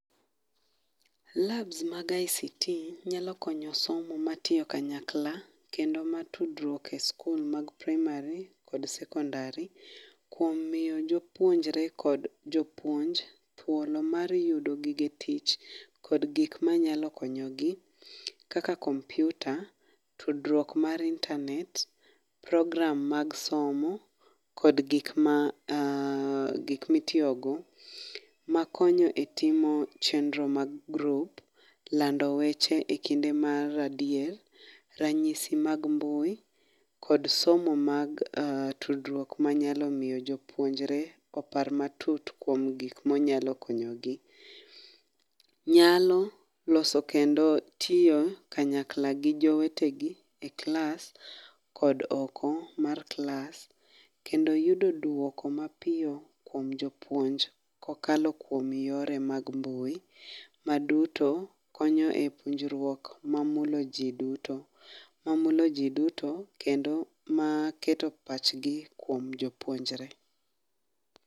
Labs mag ICT nyalo konyo somo matiyo kanyakla, kendo mag tudruok e sikul mag praimari kod sekondari. Kuom miyo jopuonjre kod jopuonj thuolo mar yudo gige tich kod gik manyalo konyogi kaka kompiuta, tudruok mar internate, program mag somo kod gik ma gik mitiyogo makonyo etimo chenro mag, grup lando weche ekinde mar adier, ranyisi mag mbui kod somo mag tudruok manyalo miyo jopuonjre opar matut kuom gik manyalo konyogi. Nyalo loso kendo tiyo kanyakla gi jowetegi e klas kod oko mar klas kendo yudo duoko mapiyo kuom jopuonj ko kalo kuom yore mag mbui maduto konyo e puonjruok mamulo ji duto mamulo jiduto kendo maketo pachgi kuom jo puonjre.